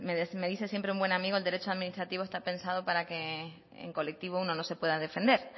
me dice siempre un buen amigo que el derecho administrativo está pensado para que en colectivo uno no se pueda defender